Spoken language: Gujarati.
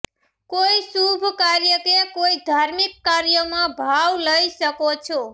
કોઈ શુભ કાર્ય કે કોઈ ધાર્મિક કાર્યમાં ભાવ લઈ શકો છો